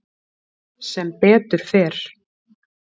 Sem betur fer